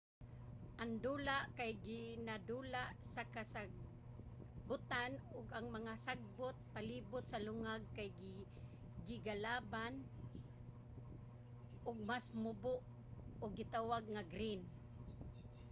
ang dula kay ginadula sa kasagbutan ug ang mga sagbot palibut sa lungag kay gigalaban og mas mubo ug gitawag nga green